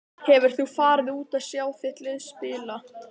Hefur þú farið út til að sjá þitt lið spila?